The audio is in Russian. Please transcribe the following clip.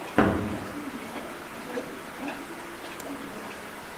канал ян бизнесс клуба